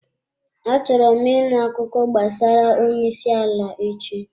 Achọrọ m ịṅụ akụkọ gbasara onye isi ala echi.